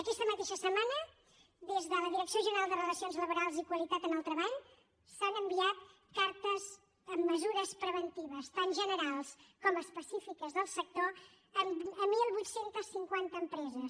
aquesta mateixa setmana des de la direcció general de relacions laborals i qualitat en el treball s’han enviat cartes amb mesures preventives tant generals com específiques del sector a divuit cinquanta empreses